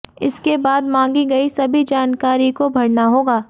इसके बाद मांगी गई सभी जानकारी को भरना होगा